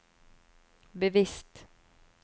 bevisst